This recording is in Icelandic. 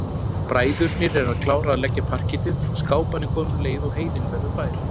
Bræðurnir eru að klára að leggja parkettið, skáparnir koma um leið og heiðin verður fær.